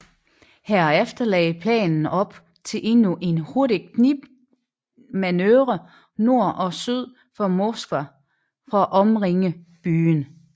Herefter lagde planen op til endnu en hurtig knibtangsmanøvre nord og syd for Moskva for at omringe byen